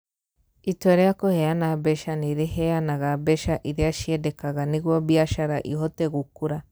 Itua rĩa kũheana mbeca nĩ rĩheanaga mbeca iria ciendekaga nĩguo biacara ĩhote gũkũra.